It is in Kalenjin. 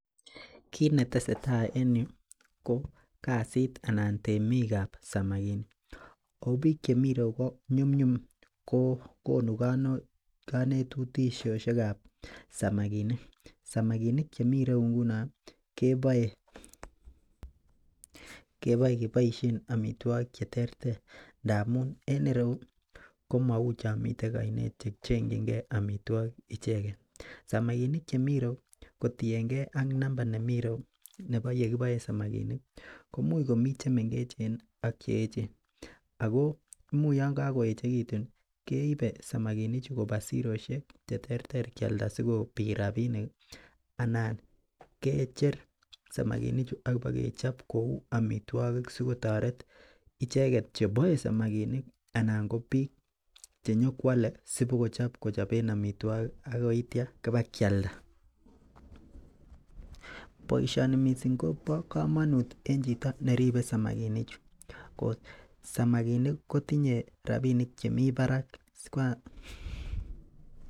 Kit netesetai en yu ko kasit anan temikab samakinik ako biik chemi ireyu ko nyumnyum kokonu konetushoshekab samakinik, samakinik chemi ireyu ngunon keboe keboisien amitwokik cheterter ndamun en ireu komou chomiten ainet chechengyinge amitwokik icheken samakinik chemi ireyu kotienge ak namba nemi ireyu nebo yekiboen samakinik komuch komii chemengechen ak cheechen ako imuch yongokoechekitu keipe samakinichu kopaa siroshek cheterter kialda sikopit rapinik anan kecher samakinichu akibokechop kou amitwokik sikotoret icheket cheboe samakinik anan ko biik chenyokwole sipokochop kochoben amitwokik akoitia kibakialda boisioni missing kobo komonut en chito neribe samakinichu, samakinik kotinye rapinik chemi parak.